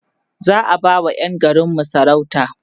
za'a ba wa Yan garinmu sarauta